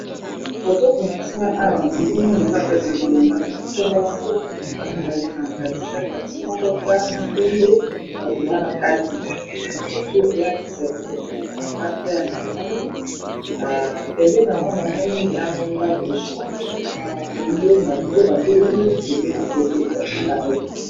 Na moni taxi voiture na batu na kati eza na langi ya pondu na ngambo kuna ndako ya jaune na bus ya langi ya pondu.